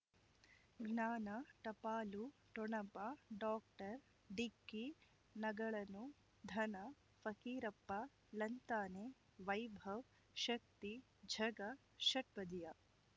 ಜ್ಞಾನ ಟಪಾಲು ಠೊಣಪ ಡಾಕ್ಟರ್ ಢಿಕ್ಕಿ ಣಗಳನು ಧನ ಫಕೀರಪ್ಪ ಳಂತಾನೆ ವೈಭವ್ ಶಕ್ತಿ ಝಗಾ ಷಟ್ಪದಿಯ